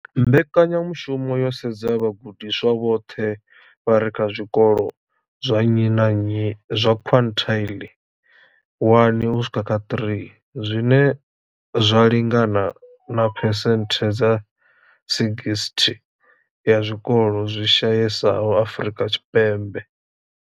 Mbekanyamushumo yo sedza vhagudiswa vhoṱhe vha re kha zwikolo zwa nnyi na nnyi zwa quintile 1 u swika kha 3, zwine zwa lingana na phesenthe dza 60 ya zwikolo zwi shayesaho Afrika Tshipembe.